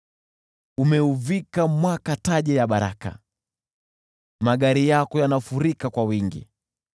Umeuvika mwaka taji ya baraka, magari yako yanafurika kwa wingi.